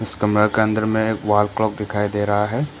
इस कमरा के अंदर में एक वॉल क्लॉक दिखाई दे रहा है।